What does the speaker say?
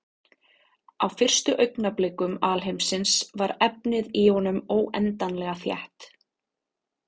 Á fyrstu augnablikum alheimsins var efnið í honum óendanlega þétt.